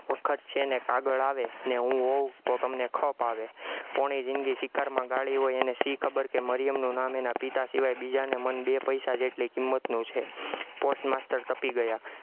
વખત છે ને કાગળ આવે ને હું હોવ તો તમને ખપ આવે, પોણી જિંદગી શિકારમાં ગાળી હોય એને શી ખબર કે મરિયમનું નામ એના પિતા સિવાય બીજાને મન બે પૈસા જેટલઈ કિંમતનું છે, post master તપી ગયા